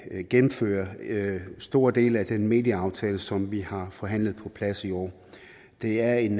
gennemføre store dele af den medieaftale som vi har forhandlet på plads i år det er en